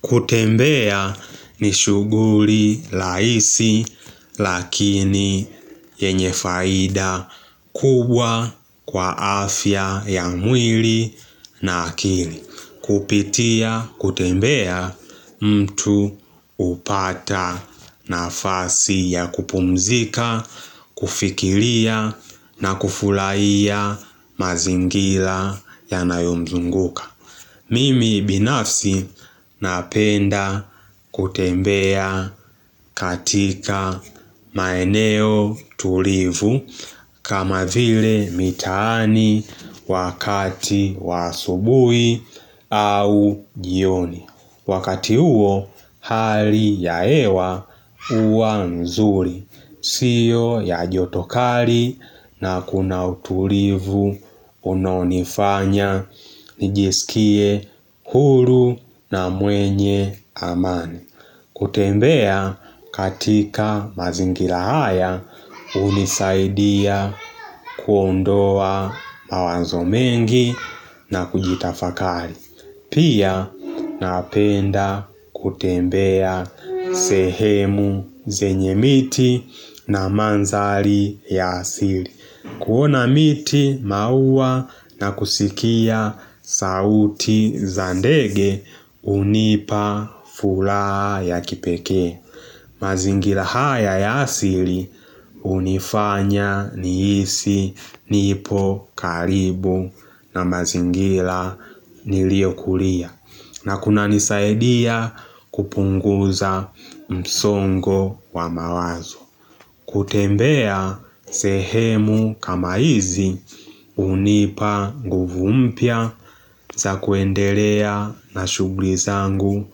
Kutembea ni shuguri laisi lakini yenye faida kubwa kwa afya ya mwili na akili. Kupitia kutembea mtu upata nafasi ya kupumzika, kufikilia na kufulaiya mazingila yanayomzunguka. Mimi binafsi napenda kutembea katika maeneo tulivu kama vile mitaani wakati wa asubui au jioni. Wakati uo, hali ya ewa uwa nzuri, sio ya joto kari na kuna utulivu unaonifanya, nijisikie huru na mwenye amani. Kutembea katika mazingila haya unisaidia kuondoa mawanzo mengi na kujitafakali. Pia napenda kutembea sehemu zenye miti na manzali ya asili. Kuona miti maua na kusikia sauti za ndege unipa fulaha ya kipekee mazingila haya ya asili unifanya niisi nipo karibu na mazingila niliokulia na kunanisaidia kupunguza msongo wa mawazo kutembea sehemu kama hizi unipa nguvu mpya za kuendelea na shugli zangu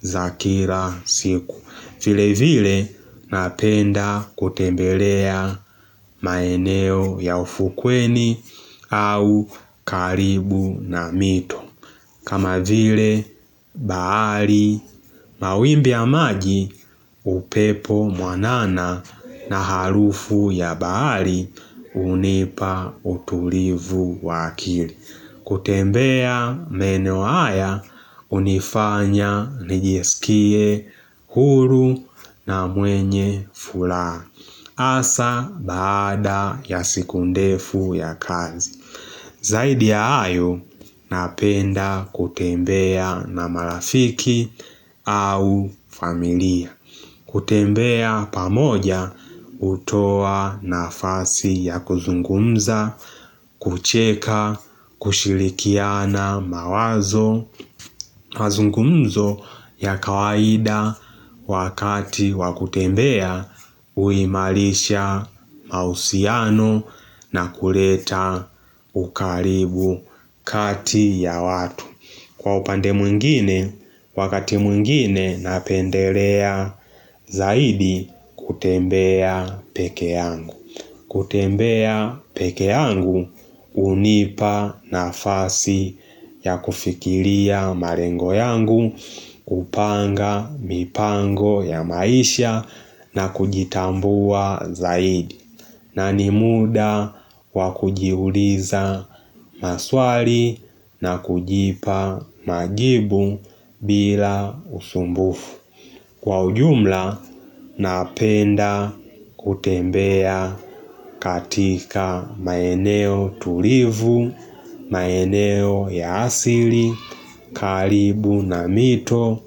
za kila siku. Vile vile napenda kutembelea maeneo ya ufukweni au karibu na mito. Kama vile baari mawimbi ya maji upepo mwanana na harufu ya baari unipa uturivu wa akili. Kutembea meneo haya unifanya nijiskie huru na mwenye fulaha. Asa baada ya siku ndefu ya kazi. Zaidi ya ayo, napenda kutembea na marafiki au familia. Kutembea pamoja utoa nafasi ya kuzungumza, kucheka, kushirikiana mawazo. Mazungumzo ya kawaida wakati wa kutembea uimalisha mausiano na kureta ukaribu kati ya watu Kwa upande mwingine wakati mwingine napendelea zaidi kutembea peke yangu kutembea peke yangu unipa nafasi ya kufikiria marengo yangu, kupanga mipango ya maisha na kujitambua zaidi. Na ni muda wa kujiuliza maswali na kujipa majibu bila usumbufu. Kwa ujumla napenda kutembea katika maeneo tulivu, maeneo ya asili, kalibu na mito,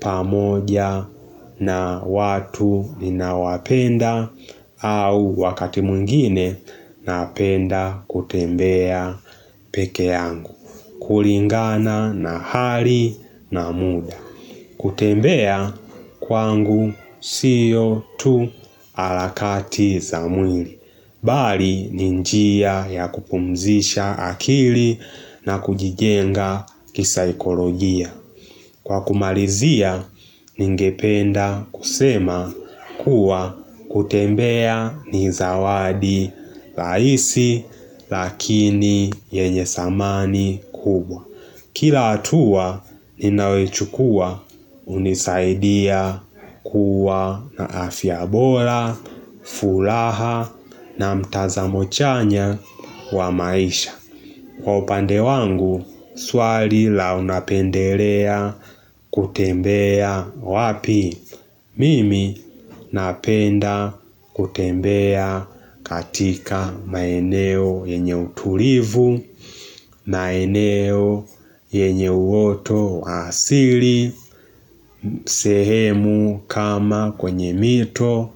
pamoja na watu ninawapenda au wakati mwingine napenda kutembea peke yangu. Kuringana na hari na muda kutembea kwangu sio tu alakati za mwili Bali ni njia ya kupumzisha akili na kujigenga kisaikolojia Kwa kumalizia ningependa kusema kuwa kutembea ni zawadi laisi lakini yenye samani kubwa Kila atuwa ninayoichukua unisaidia kuwa na afia bora, furaha na mtazamo chanya wa maisha. Kwa upande wangu, swali la unapenderea kutembea wapi? Mimi napenda kutembea katika maeneo yenye uturivu, maeneo yenye uoto wa asili, sehemu kama kwenye mito.